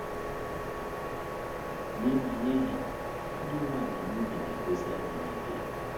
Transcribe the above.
Nye ha, Nye ha, ịdị umeala n’obi na - egosi adịghị ike.